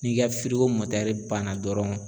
N'i ka banna dɔrɔn